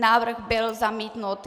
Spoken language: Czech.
Návrh byl zamítnut.